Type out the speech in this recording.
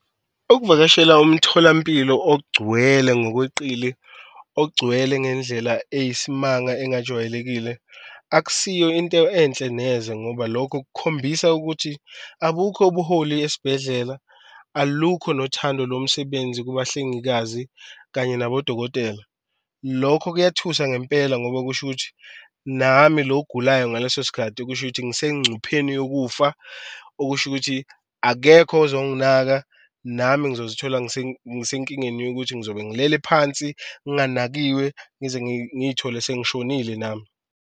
Ukuvakashela umtholampilo ogcwele ngokweqile, ogcwele ngendlela eyisimanga engajwayelekile akusiyo into enhle neze ngoba lokho kukhombisa ukuthi abukho obuholi esibhedlela, alukho nothando lomsebenzi kubahlengikazi kanye nabodokotela. Lokho kuyathusa ngempela ngoba kusho ukuthi nami lo ogulayo ngaleso sikhathi kusho ukuthi ngisencupheni yokufa, okusho ukuthi akekho ozonginaka nami engizozithola ngisenkingeni yokuthi ngizobe ngilele phansi, nganakiwe ngize ngiyithole sengishonile nami.